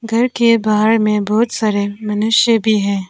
घर के बाहर में बहुत सारे मनुष्य भी है।